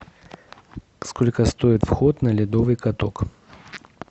сколько стоит вход на ледовый каток